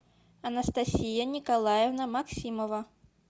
анастасия николаевна максимова